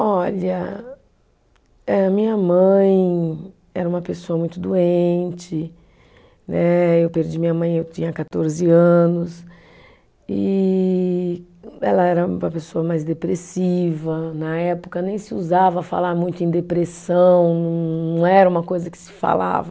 Olha, eh minha mãe era uma pessoa muito doente né, eu perdi minha mãe, eu tinha quatorze anos, e ela era uma pessoa mais depressiva, na época nem se ousava falar muito em depressão, não era uma coisa que se falava.